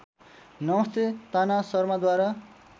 नमस्ते ताना सर्माद्वारा